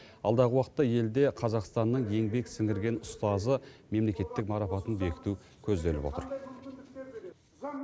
алдағы уақытта елде қазақстанның еңбек сіңірген ұстазы мемлекеттік марапатын бекіту көзделіп отыр